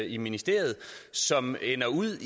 i ministeriet som ender ud